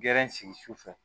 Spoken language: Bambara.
sigi sufɛ